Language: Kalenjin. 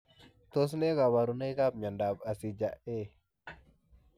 Tos nee kabarunoik ap miondoop asija eeh?